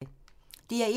DR1